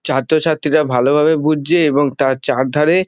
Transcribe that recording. ছাত্রছাত্রীরা ভালোভাবে বুঝছে এবং তার চার ধারে।